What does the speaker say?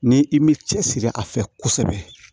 Ni i m'i cɛsiri a fɛ kosɛbɛ